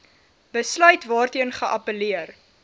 besluit waarteen geappelleer